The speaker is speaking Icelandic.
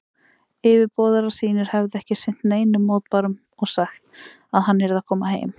Yfirboðarar sínir hefðu ekki sinnt neinum mótbárum og sagt, að hann yrði að koma heim.